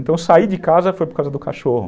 Então, saí de casa foi por causa do cachorro.